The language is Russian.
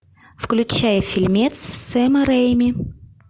включай фильмец сэма рэйми